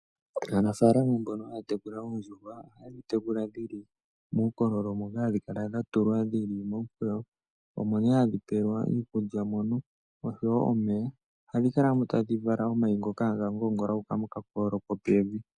Aanafalama mbono haya tekula oondjuhwa ohadhi tekula dhili muukolo moka hadhi kala dha tulwa dhili muukololo. Omo nee hadhi pewelwa iikulya mono oshowo omeya. Ohadhi kala mo tadhi vala omayi ngoka haga ngoongola gu uka moka kololo kopevi.